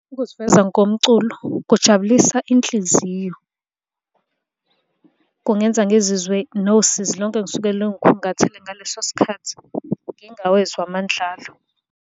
Ukuziveza ngomculo kujabulisa inhliziyo. Kungenza ngizizwe nosizi lonke engisuke lungikhungathile ngaleso sikhathi, ngingawezwa amandla alo.